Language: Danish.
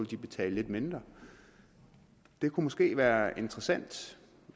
de betale lidt mindre det kunne måske være interessant